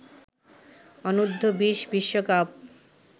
অনূর্ধ্ব-২০ বিশ্বকাপ